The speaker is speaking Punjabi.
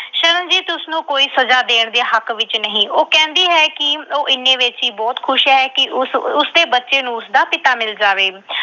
ਸ਼ਰਨਜੀਤ ਉਸਨੂੰ ਕੋਈ ਸਜਾ ਦੇਣ ਦੇ ਹੱਕ ਵਿੱਚ ਨਹੀਂ। ਉਹ ਕਹਿੰਦੀ ਹੈ ਕਿ ਉਹ ਇੰਨੇ ਵਿੱਚ ਹੀ ਬਹੁਤ ਖੁਸ਼ ਹੈ ਕਿ ਉਸ ਅਹ ਉਸਦੇ ਬੱਚੇ ਨੂੰ ਉਸਦਾ ਪਿਤਾ ਮਿਲ ਜਾਵੇ।